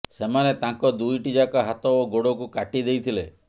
ସେମାନେ ତାଙ୍କ ଦୁଇଟି ଯାକ ହାତ ଓ ଗୋଡ଼କୁ କାଟି ଦେଇଥିଲେ